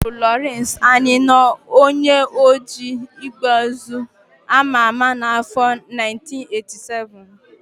Agbagburu Lawrence Anini, onye oji égbèezu ama ama n'afọ 1987